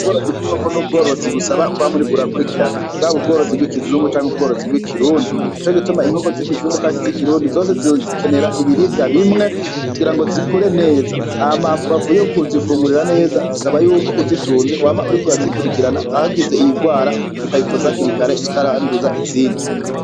Ubworozi bw'inkoko n'ubworozi busaba kwa muri kurakurikirana bwa b ubworozi bw'ikizungu canke ubworozi bw'ikirundi ni co gituma inkoko z'ikizungu canke zikirundi zose zizikenera ibiribwa bimwe kugira ngo zikure neza ama mbavu yo kuzifungurira neza zisaba yuko uzitunze wama uri kurazikurikirana ahagize iyirwara ukayivuza kirikare itaranduza izindi.